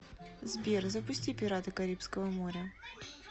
сбер запусти пираты карибского моря